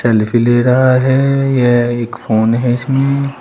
Selfie ले रहा है यह एक फोन है इसमें।